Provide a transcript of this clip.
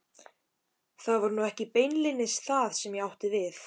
Það var nú ekki beinlínis það sem ég átti við.